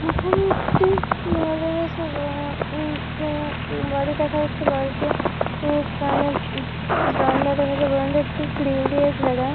এখানে একটি বাড়ি দেখা যাচ্ছে বাড়িটি বারান্দা দেখা যাচ্ছে। বারান্দাটি গ্রিল দিয়ে ঘেরা।